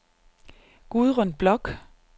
Gudrun Bloch